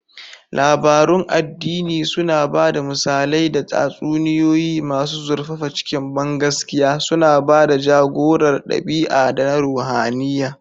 Labarun addini suna ba da misalai da tatsuniyoyi masu zurfafa cikin bangaskiya, suna ba da ja-gorar ɗabi'a da na ruhaniya.